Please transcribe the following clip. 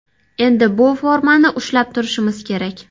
Endi bu formani ushlab turishimiz kerak”.